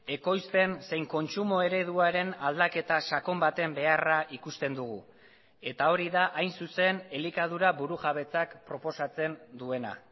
ekoizpen zein kontsumo ereduaren aldaketa sakon baten beharra ikusten dugu eta hori da hain zuzen elikadura burujabetzak proposatzen duena